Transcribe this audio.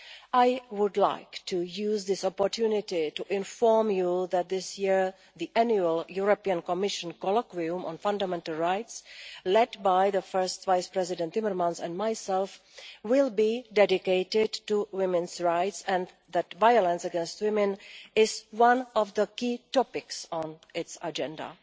I would like to use this opportunity to inform you that this year, the annual European Commission colloquium on fundamental rights, led by first Vice President Timmermans and myself, will be dedicated to women's rights, and that violence against women is one of the key topics on its agenda.